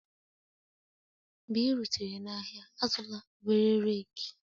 Mgbe ị rutere n'ahịa, azụla obere rake